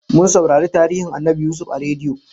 Mun saurari tarihin Annabi Yusuf a rediyo